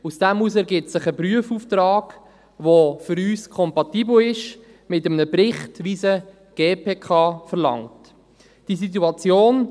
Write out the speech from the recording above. Daraus ergibt sich ein Prüfauftrag, der für uns mit einem Bericht, wie ihn die GPK verlangt, kompatibel ist.